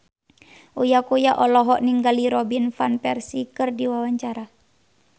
Uya Kuya olohok ningali Robin Van Persie keur diwawancara